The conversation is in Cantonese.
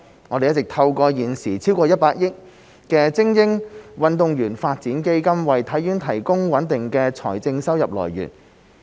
我們一直透過現時超過100億元的精英運動員發展基金為體院提供穩定的財政收入來源。